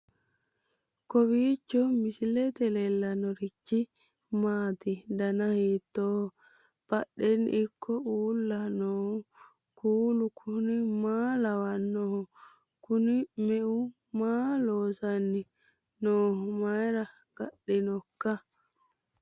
kowiicho misilete leellanorichi maati ? dana hiittooho ?abadhhenni ikko uulla noohu kuulu kuni maa lawannoho? kuni me'u maa loosanni nooho mayra gadhinoikka